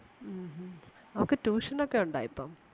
ഉം ഉം അവക്ക് tuition ഒക്കെ ഒണ്ടാ ഇപ്പം.